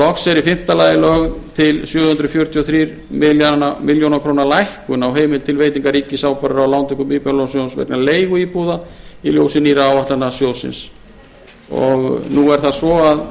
loks er í fimmta lagi lögð til sjö hundruð fjörutíu og þrjár milljónir króna lækkun á heimild til veitingar ríkisábyrgðar á lántökum íbúðalánasjóðs vegna leiguíbúða í ljósi nýrra áætlana sjóðsins nú er það svo